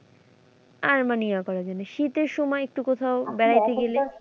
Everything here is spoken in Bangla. আর মানে শীতের সময় একটু কোথাও বেড়াতে গেলে,